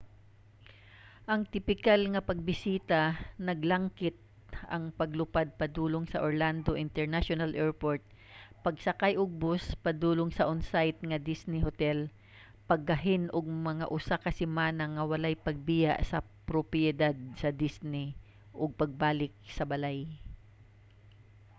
ang tipikal nga pagbisita naglangkit ang paglupad padulong sa orlando international airport pagsakay og bus padulong sa on-site nga disney hotel paggahin og mga usa ka semana nga walay pagbiya sa propiedad sa disney ug pagbalik sa balay